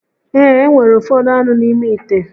Ee, e nwere ufodu anu n'ime ite